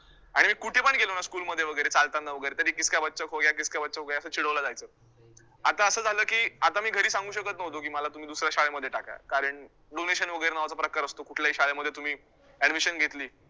आणि मी कुठे पण गेलोना school मध्ये वैगरे चालताना वैगरे तरी 'किसका बच्चा खो गया', 'किसका बच्चा खो गया' असं चिडवलं जायचं आता असं झालं, की आता मी घरी सांगू शकतं नव्हतो, की मला तुम्ही दुसऱ्या शाळेत टाका, कारण donation वैगरे नावाचा प्रकार असतो कुठल्याही शाळेमध्ये तुम्ही admission घेतली.